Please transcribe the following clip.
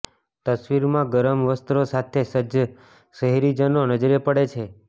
તસ્વીરમાં ગરમ વસ્ત્રો સાથે સજ્જ શહેરીજનો નજરે પડે છે